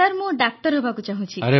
sir ମୁଁ doctor ହେବାକୁ ଚାହୁଁଛି